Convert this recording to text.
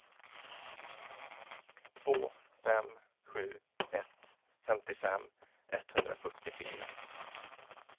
två fem sju ett femtiofem etthundrafyrtiofyra